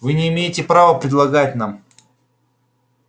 вы не имеете права предлагать нам